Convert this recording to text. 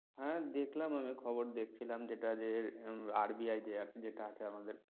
হ্যাঁ দেখলাম আমি খবর দেখছিলাম যেটা যে RBI যে যেটা আছে আমাদের